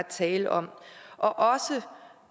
tale om og også